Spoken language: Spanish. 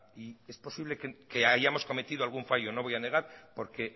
y es posible que hayamos cometido algún fallo no voy a negar porque